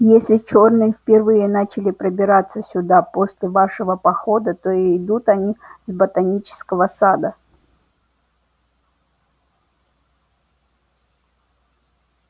если чёрные впервые начали пробираться сюда после вашего похода то идут они с ботанического сада